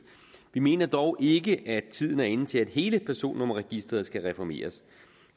vi mener dog ikke at tiden er inde til at hele personnummerregisteret skal reformeres